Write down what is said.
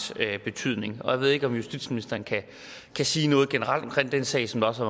betydning jeg ved ikke om justitsministeren kan sige noget generelt om den sag som der også